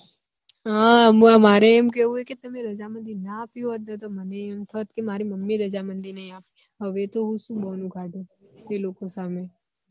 હ મારે એમ કેવું હે કે તમે રજામંદી ના આપી હોત ને તો મને એમ થોત કે મારી mummy એ રજામંદી ની આપી હવે તો હું શું બોનું કાડુ એ લોકો સામે